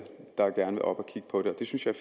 der gerne vil op at kigge på det det synes jeg